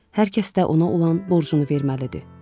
Hər kəs də ona olan borcunu verməlidir.